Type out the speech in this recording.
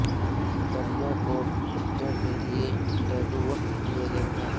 ٹریوں کو کتوں کے لئے ٹیٹو وقف کیے گئے ہیں